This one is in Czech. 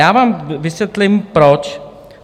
Já vám vysvětlím proč.